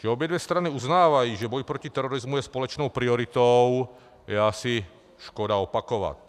Že obě dvě strany uznávají, že boj proti terorismu je společnou prioritou, je asi škoda opakovat.